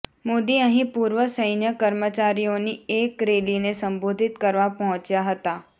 મોદી અહીં પૂર્વ સૈન્ય કર્મચારીઓની એક રેલીને સંબોધિત કરવા પહોંચ્યા હતા